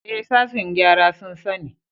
Ee, sashen gyara sun sani.